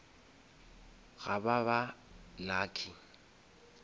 ga ba ba lucky